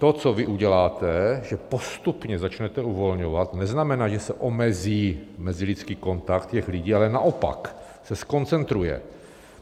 To, co vy uděláte, že postupně začnete uvolňovat, neznamená, že se omezí mezilidský kontakt těch lidí, ale naopak se zkoncentruje.